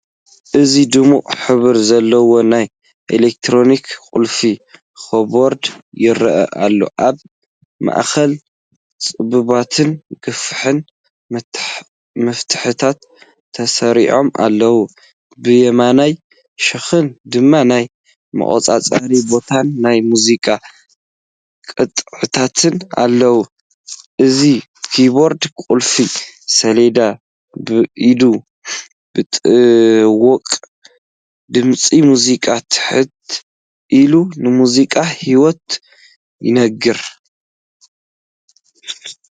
እዚ ድሙቕ ሕብሪ ዘለዎ ናይ ኤሌክትሪክ ቁልፊ ኪቦርድ ይረአ ኣሎ። ኣብ ማእከል ጸበብትን ገፊሕን መፍትሕታት ተሰሪዖም ኣለዉ፡ብየማናይ ሸነኽ ድማ ናይ ምቁጽጻር ቦታን ናይ ሙዚቃ ቅጥዕታትን ኣለዉ። እዚኪቦርድ ቁልፊ ሰሌዳ ብኢድ ምጥዋቕ፡ድምጺ ሙዚቃ ትሕት ኢሉ ንሙዚቃ ህይወት ይነግር።